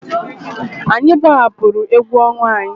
Anyị gbahapụrụ egwu ọnwa anyị.